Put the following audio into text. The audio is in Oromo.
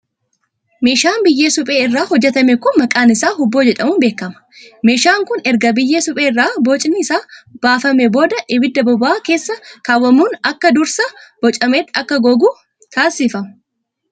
Meeshaan biyyee suphee irraa hojjatame kun maqaan isaa hubboo jedhamuun beekama. Meeshaan kun, erga biyyee suphee irraa bocni isaa baafame booda ibidda bobo'aa keessa kaawwamuun akka dursa bocametti akka gogu taasifama.